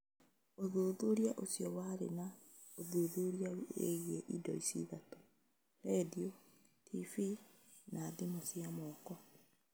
Ũthuthuria ũcio warĩ na ũthuthuria wĩgiĩ indo ici ithatũ: redio , TV , na thimũ cia moko .